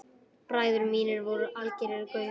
Bræður mínir voru algerir gaurar.